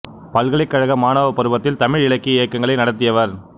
பல்கலைக் கழக மாணவப் பருவத்தில் தமிழ் இலக்கிய இயக்கங்களை நடத்தியவர்